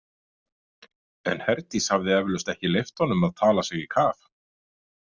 En Herdís hafði eflaust ekki leyft honum að tala sig í kaf.